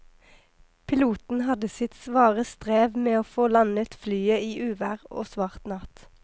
Piloten hadde sitt svare strev med å få landet flyet i uvær og svart natt.